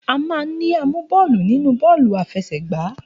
A máa ń ní amú bọ́ọ̀lù nínú bọ́ọ̀lù àfẹsẹ̀gba.